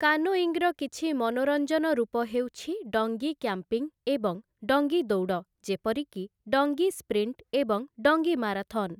କାନୋଇଙ୍ଗର କିଛି ମନୋରଞ୍ଜନ ରୂପ ହେଉଛି ଡଙ୍ଗୀ କ୍ୟାମ୍ପିଂ ଏବଂ ଡଙ୍ଗୀ ଦୌଡ଼, ଯେପରିକି ଡଙ୍ଗୀ ସ୍ପ୍ରିଣ୍ଟ ଏବଂ ଡଙ୍ଗୀ ମାରାଥନ୍ ।